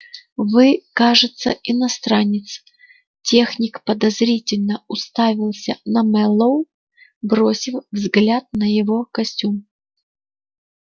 вы кажется иностранец техник подозрительно уставился на мэллоу бросив взгляд на его костюм